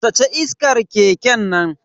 Sace iskar keken nan.